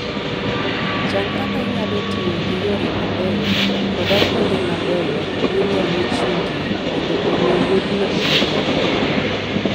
Chan kaka inyalo tiyo gi yore mabeyo koda kuonde mabeyo minyalo chung'ie mondo omi wuodhno obed maber.